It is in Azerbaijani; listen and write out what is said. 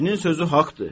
Kişinin sözü haqdır.